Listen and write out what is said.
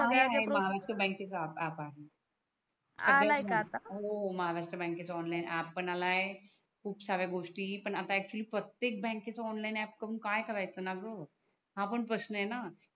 तो आला आहे महाराष्ट्र बँकेचा आप आहे आला आहे का आता सध्या हो महाराष्ट्र बँकेच ऑनलाइन आप पण आला आहे खूप साऱ्या गोष्टी पण आता आक्चुअल्ली प्रतेक बँकेच ऑनलाइन आप करून काय करायचणा ग हा पण प्रशन आहे णा